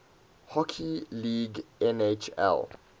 hockey league nhl